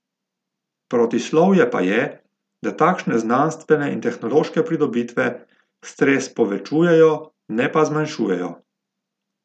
Protislovje pa je, da takšne znanstvene in tehnološke pridobitve stres povečujejo, ne pa zmanjšujejo.